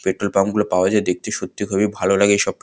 petrol pump গুলো পাওয়া যায় দেখতে সত্যি খুবই ভালো লাগে এইসব পে--